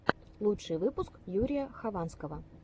лучший выпуск юрия хованского